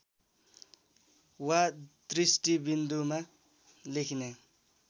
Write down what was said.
वा दृष्टिबिन्दुमा लेखिने